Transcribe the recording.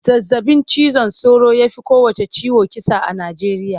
Zazabin cizon sauro ya fi kowanne ciwo kisa a Nijeriya.